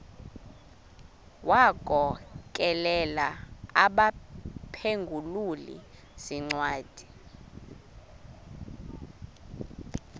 wagokelela abaphengululi zincwadi